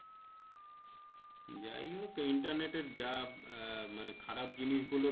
যাই হোক Internet এই যা আহ মানে খারাপ জিনিস গুলো।